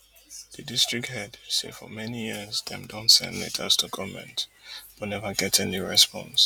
di district head say for many years dem don send letters to goment but neva get any response